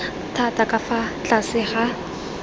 thata ka fa tlase ga